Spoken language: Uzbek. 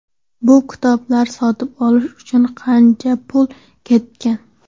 Bu kitoblarni sotib olish uchun qancha pul ketgan.